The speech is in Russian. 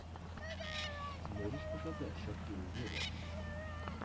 можешь показать шакиру вево